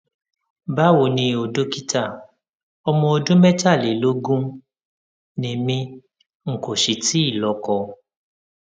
báwo ni o dókítà ọmọ ọdún mẹtàlélógún ni mí n kò sì tíì lọkọ